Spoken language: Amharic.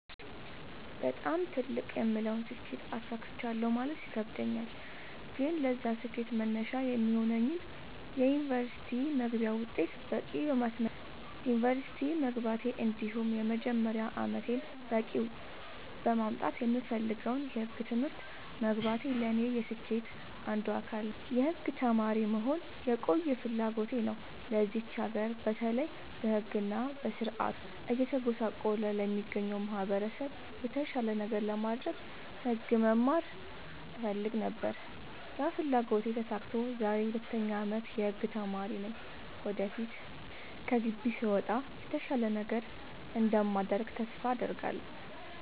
በጣም ትልቅ የምለውን ስኬት አሳክቻለሁ ማለት ይከብደኛል። ግን ለዛ ስኬት መነሻ የሚሆነኝን የ ዩኒቨርስቲ መግቢያ ውጤት በቂ በማስመዝገብ ዩንቨርስቲ መግባቴ እንዲሁም የመጀመሪያ አመቴን በቂ ውጤት በማምጣት የምፈልገውን የህግ ትምህርት መግባቴ ለኔ የስኬቴ አንዱ አካል ነው። የህግ ተማሪ መሆን የቆየ ፍላጎቴ ነው ለዚች ሀገር በተለይ በህግ እና በስርዓቱ እየተጎሳቆለ ለሚገኘው ማህበረሰብ የተሻለ ነገር ለማድረግ ህግ መማር እፈልግ ነበር ያ ፍላጎቴ ተሳክቶ ዛሬ የ 2ኛ አመት የህግ ተማሪ ነኝ ወደፊት ከግቢ ስወጣ የተሻለ ነገር እንደማደርግ ተስፋ አድርጋለሁ።